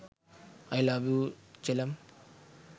i love you chellam